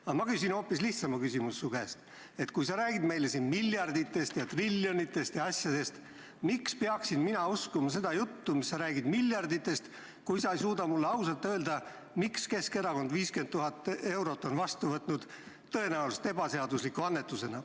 Aga ma küsin su käest hoopis lihtsama küsimuse: sa räägid meile siin miljarditest ja triljonitest ja muust, kuid miks peaksin mina uskuma seda juttu, mida sa räägid miljarditest, kui sa ei suuda mulle ausalt öelda, miks on Keskerakond võtnud vastu 50 000 eurot tõenäoliselt ebaseadusliku annetusena?